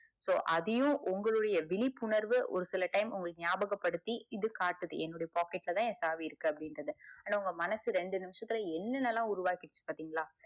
so இப்போ அதையும் உங்களுடைய விழிப்புணர்வுஒரு சில time உங்களுக்கு நியாபக படுத்திகாட்டுது என்னுடைய பாக்கெட்ல தான் ஏன் சாவி இருக்கு அப்புடிங்குரத ஆனா உங்க மனசு என்னென்னலாம் உருவாக்கிருக்குபாக்கலாம்